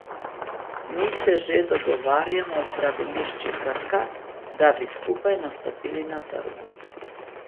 Mi se že dogovarjamo z zdravilišči Krka, da bi skupaj nastopili na trgu.